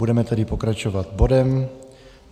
Budeme tedy pokračovat bodem